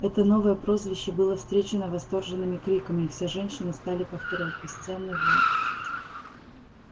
это новое прозвище было встречено восторженными криками и все женщины стали повторять бесценный волк